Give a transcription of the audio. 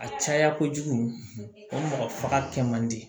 A caya kojugu o mɔgɔ faga kɛ man di